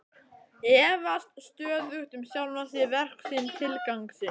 Efast stöðugt um sjálfan sig, verk sín, tilgang sinn.